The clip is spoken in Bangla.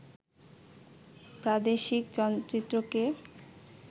প্রাদেশিক চলচ্চিত্রকে